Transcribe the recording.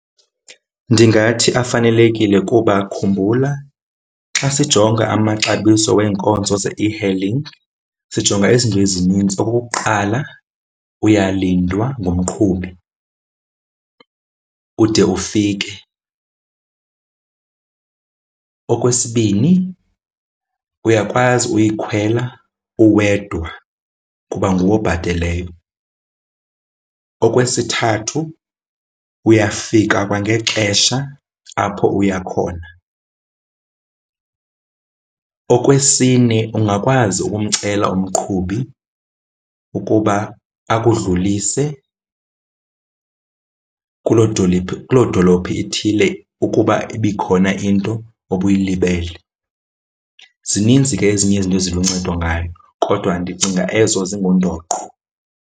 Ndingathi afanelekile kuba khumbula, xa sijonga amaxabiso weenkonzo ze-e-hailing sijonga izinto ezininzi. Okokuqala uyalindwa ngumqhubi ude ufike. Okwesibini uyakwazi uyikhwela uwedwa kuba nguwe obhateleyo. Okwesithathu uyafika kwangexesha apho uya khona. Okwesine ungakwazi ukumcela umqhubi ukuba akudlulise kuloo , kuloo dolophu ethile ukuba ibikhona into obuyilibele. Zininzi ke ezinye izinto eziluncedo ngayo kodwa ndicinga ezo zingundoqo.